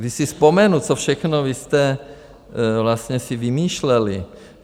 Když si vzpomenu, co všechno vy jste vlastně si vymýšleli.